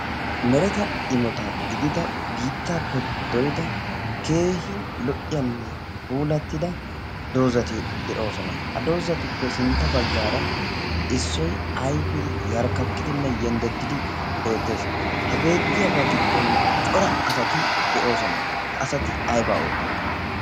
mereta imota gidida biittaappe dorida keehin lo"iyaanne pulattida doozati de'oosona. a dozatuppe sintta baggaara issoy ayfee yarkkakkidinne yenddeddidi beettees. ha beettiyaagaa giddon cora asati de'oosona. ha asati aybaa oottiyoona?